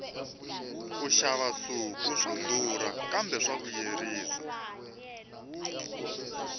ku xava nsuku swa durha kambe swa vuyerisa